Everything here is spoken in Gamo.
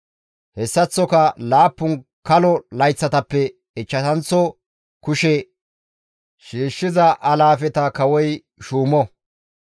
Hessaththoka laappun kalo layththatappe ichchashanththo kushe shiishshiza alaafeta kawoy shuumo.